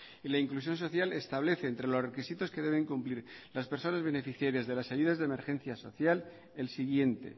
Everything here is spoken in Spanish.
y la inclusión social establece entre los requisitos que deben cumplir las personas beneficiarias de las ayudas de emergencia social el siguiente